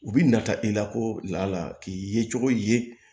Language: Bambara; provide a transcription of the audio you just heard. U bi nata i la ko la k'i ye cogo ye